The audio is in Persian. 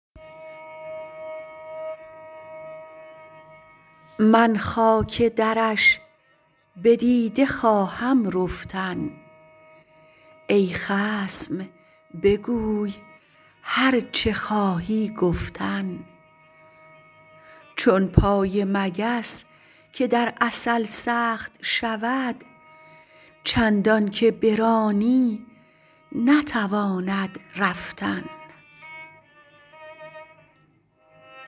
من خاک درش به دیده خواهم رفتن ای خصم بگوی هرچه خواهی گفتن چون پای مگس که در عسل سخت شود چندانکه برانی نتواند رفتن